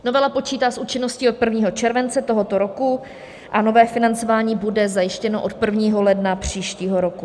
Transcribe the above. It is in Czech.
Novela počítá s účinností od 1. července tohoto roku a nové financování bude zajištěno od 1. ledna příštího roku.